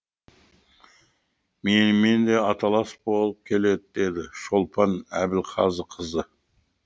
менімен де аталас болып келеді деді шолпан әбілғазықызы